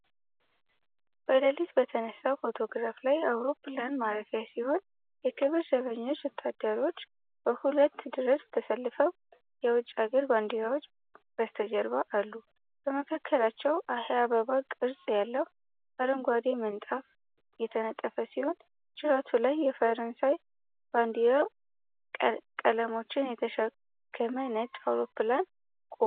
በሌሊት በተነሳው ፎቶግራፍ ላይ አውሮፕላን ማረፊያ ሲሆን፣ የክብር ዘበኛ ወታደሮች በሁለት ረድፍ ተሰልፈው የውጭ ሀገር ባንዲራዎች በስተጀርባ አሉ። በመካከላቸው የአበባ ቅርፅ ያለው አረንጓዴ ምንጣፍ የተነጠፈ ሲሆን፣ ጅራቱ ላይ የፈረንሳይ ባንዲራ ቀለሞችን የተሸከመ ነጭ አውሮፕላን ቆሟል።